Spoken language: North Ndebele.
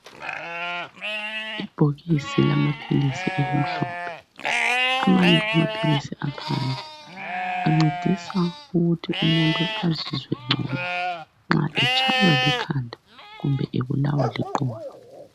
Ibhokisi lamaphilisi elimhlophe. Amanye amaphilisi aphandle ancedisa ukuthi umuntu azizwe engcono nxa etshaywa likhanda kumbe ebulawa liqolo.